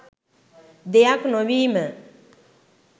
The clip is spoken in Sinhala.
දෙයක් නොවීම.